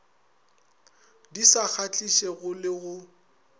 di sa kgahlišego le go